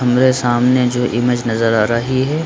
हमरे सामने जो इमेज नजर आ रही है --